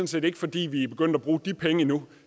set ikke fordi vi er begyndt at bruge de penge endnu